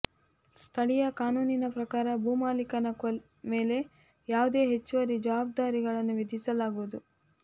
ಸ್ಥಳೀಯ ಕಾನೂನಿನ ಪ್ರಕಾರ ಭೂಮಾಲೀಕನ ಮೇಲೆ ಯಾವುದೇ ಹೆಚ್ಚುವರಿ ಜವಾಬ್ದಾರಿಗಳನ್ನು ವಿಧಿಸಲಾಗುವುದು